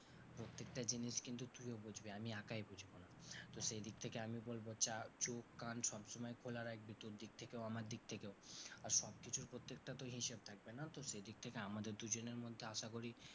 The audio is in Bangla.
প্রত্যেকটা জিনিস কিন্তু তুইও বুঝবি আমি একাই বুঝবো না, তো সেই দিক থেকে আমি বলবো চোখ কান সবসময় খোলা রাখবি তোর দিক থেকেও আমার দিক থেকেও। আর সব কিছুর প্রত্যেকটা তো হিসাব থাকবে না, তো সেই দিক থেকে আমাদের দুজনের মধ্যে আশা করি,